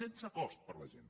sense cost per a la gent